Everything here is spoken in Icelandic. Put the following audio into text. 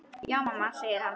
Já mamma, segir hann.